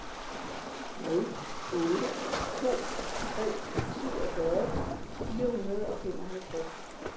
nul otte to tre syvogfyrre fire hundrede og femoghalvtreds